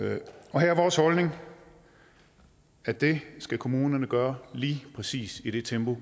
og her er vores holdning at det skal kommunerne gøre lige præcis i det tempo